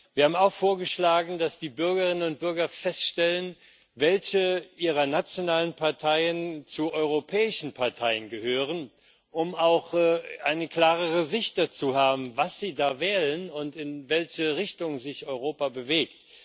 Wir haben auch vorgeschlagen, dass die Bürgerinnen und Bürger feststellen, welche ihrer nationalen Parteien zu europäischen Parteien gehören, um auch eine klarere Sicht zu haben, was sie da wählen und in welche Richtung sich Europa bewegt.